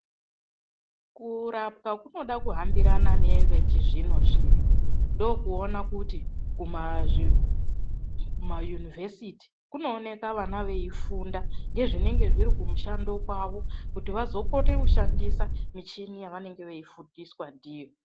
Kurapwa kunoda kuhambirana nevechizvino-zvino. Ndookuona kuti kumayunivhesiti kunooneka vana veifunda ngezvinenge zviri kumushando kwavo kuti vazokone kushandisa michini yavanenge veifundiswa ndiyo.